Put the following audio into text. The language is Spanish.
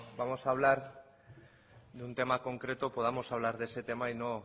vamos a hablar de un tema concreto podamos hablar de ese tema y no